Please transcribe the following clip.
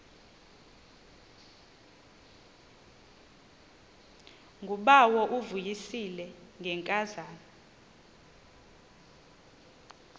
ngubawo uvuyisile ngenkazana